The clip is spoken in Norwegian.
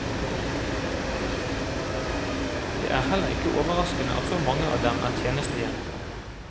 Det er heller ikke overraskende at så mange av dem er tjenestejenter.